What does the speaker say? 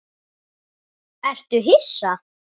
Ertu hissa?